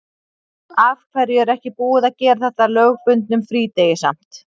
Af hverju er ekki búið að gera þetta að lögbundnum frídegi samt?